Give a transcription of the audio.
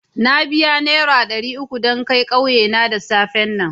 Na biya nera dari uku dan kai ƙauye na da safen nan.